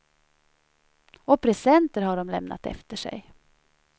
Och presenter har de lämnat efter sig.